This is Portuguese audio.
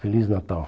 Feliz Natal.